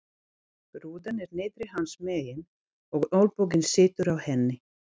Rúðan er niðri hans megin og olnboginn situr á henni.